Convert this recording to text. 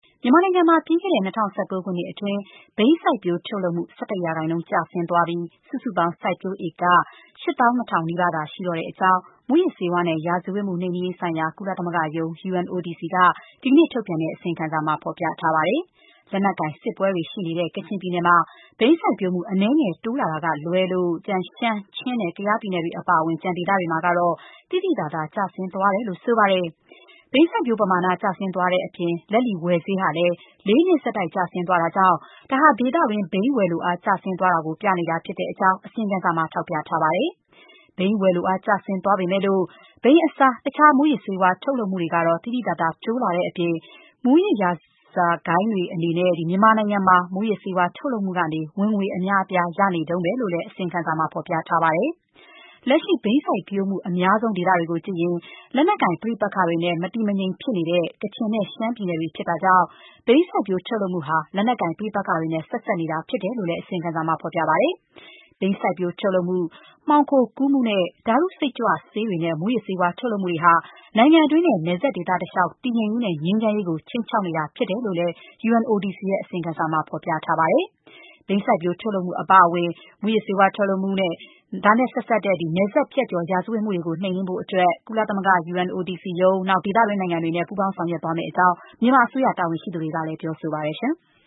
မြန်မာနိုင်ငံမှာ ပြီးခဲ့တဲ့ ၂၀၁၉ ခုနှစ်အတွင်း ဘိန်းစိုက်ပျိုးထုတ်လုပ်မှု ၁၁ ရာခိုင်နှုန်း ကျဆင်းသွားပြီး စုစုပေါင်း စိုက်ပျိုးဧက ၈၂,၀၀၀ နီးပါးသာ ရှိတော့ကြောင်း မူးယစ်ဆေးဝါးနဲ့ ရာဇဝတ်မှုနှိမ်နှင်းရေး ဆိုင်ရာ ကုလသမဂ္ဂရုံး (UNODC) က ဒီကနေ့ ထုတ်ပြန်တဲ့အစီရင်ခံစာမှာ ဖော်ပြထားပါတယ်။ လက်နက်ကိုင်စစ်ပွဲတွေ ရှိနေတဲ့ ကချင်ပြည်နယ်မှာ ဘိန်းစိုက်ပျိုးမှု အနည်းငယ် တိုးလာတာကလွဲလို့ ရှမ်း၊ ချင်းနဲ့ ကယားပြည်နယ်တွေ အပါအဝင် ကျန်ဒေသတွေမှာတော့ သိသိသာသာ ကျဆင်းသွားတယ်လို့ ဆိုပါတယ်။ ဘိန်းစိုက်ပျိုးတဲ့ ပမာဏ ကျဆင်းသွားတဲ့အပြင် လက်လီ ဝယ်ဈေးဟာလည်း ၄ နှစ် ဆက်တိုက် ကျဆင်းသွားတာကြောင့် ဒါဟာ ဒေသတွင်း ဘိန်းဝယ်လိုအားကျ ဆင်းသွားတာကို ပြနေကြောင်း အစီရင်ခံစာမှာ ထောက်ပြပါတယ်။ ဘိန်းဝယ်လိုအား ကျဆင်းသွားပေမဲ့ ဘိန်းအစား တခြား မူးယစ်ဆေးဝါး ထုတ်လုပ်မှုတွေကတော့ သိသိသာသာ တိုးလာတဲ့အပြင် မူးယစ် ရာဇဝတ်ဂိုဏ်းတွေအနေနဲ့ မြန်မာနိုင်ငံမှာ မူးယစ်ဆေးထုတ်လုပ်မှုကနေ ဝင်ငွေအများအပြား ရနေတုန်းပဲလို့လည်း အစီရင်ခံစာက ထောက်ပြပါတယ်။ လက်ရှိ ဘိန်းစိုက်ပျိုးမှု အများဆုံး ဒေသတွေကို ကြည့်ရင် လက်နက်ကိုင် ပဋိပက္ခတွေနဲ့ မတည်မငြိမ်ဖြစ်နေတဲ့ ကချင်နဲ့ ရှမ်းပြည်နယ်တွေ ဖြစ်တာကြောင့် ဘိန်းစိုက်ပျိုး ထုတ်လုပ်မှုဟာ လက်နက်ကိုင် ပဋိပက္ခတွေနဲ့ ဆက်စပ်နေတာ ဖြစ်ကြောင်းလည်း အစီရင်ခံစာမှာ ဖော်ပြထားပါတယ်။ ဘိန်းစိုက်ပျိုး ထုတ်လုပ်မှု၊ မှောင်ခိုကူးမှုနဲ့ ဓာတုစိတ်ကြွဆေးတွေ၊ မူးယစ်ဆေးဝါး ထုတ်လုပ်မှုတွေဟာ နိုင်ငံတွင်းနဲ့ နယ်စပ်ဒေသတလျှောက် တည်ငြိမ်ရေးနဲ့ငြိမ်းချမ်းရေးကို ခြိမ်းခြောက်နေတာဖြစ်ကြောင်းလည်း UNODC ရဲ့ အစီရင်ခံစာ ဖော်ပြထားပါတယ်။ ဘိန်းစိုက်ပျိုးထုတ်လုပ်မှု အပါအဝင် မူးယစ်ဆေးဝါး ထုတ်လုပ်မှု ဒါနဲ့ဆက်စပ်တဲ့ နယ်စပ်ဖြတ်ကျော် ရာဇဝတ်မှုတွေကို နှိမ်နင်းဖို့အတွက် ကုလသမဂ္ဂ UNODC ၊ ဒေသတွင်းနိုင်ငံတွေနဲ့ ပူးပေါင်းဆောင်ရွက်သွားမယ့်အကြောင်း မြန်မာအစိုးရ တာဝန်ရှိသူတွေကလည်း ပြောဆိုပါတယ်။